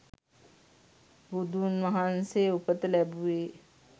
බුදුන්වහන්සේ උපත ලැබුවේ